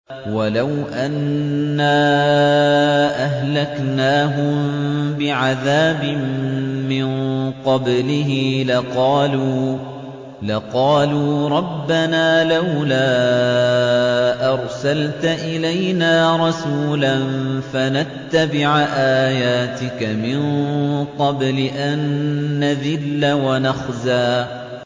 وَلَوْ أَنَّا أَهْلَكْنَاهُم بِعَذَابٍ مِّن قَبْلِهِ لَقَالُوا رَبَّنَا لَوْلَا أَرْسَلْتَ إِلَيْنَا رَسُولًا فَنَتَّبِعَ آيَاتِكَ مِن قَبْلِ أَن نَّذِلَّ وَنَخْزَىٰ